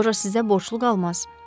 Loja sizə borclu qalmaz.